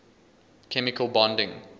chemical bonding